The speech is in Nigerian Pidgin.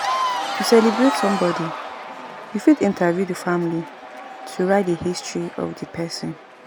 To celebrate some body, you fit interview the family to write di history of di person